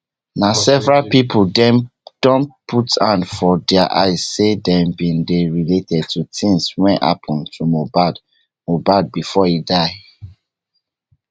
na several pipo dem don put hand for dia eyes say dem bin dey related to tins weyhappun to mohbad mohbad bifor e die